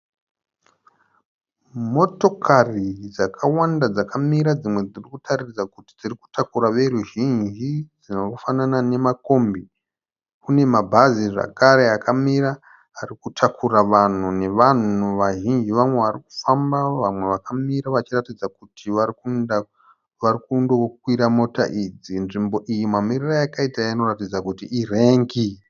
Motokari dzakawanda dzakamira dzimwe dziri kutaridza kuti dziri kutakura voruzhinji dzinofanana namakombi. Kune mabhazi zvakare akamira ari kutakura vanhu nevanhu vazhinji. Vamwe vari kufamba, vamwe vakamira vachiratidza kuti vari kuenda vari kundokwira mota idzi. Nzvimbo iyi mamirire ayakaita inoratidza kuti irengi.